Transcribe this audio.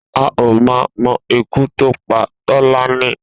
A ò mà mo̩ ikú tó pa Tó̩lání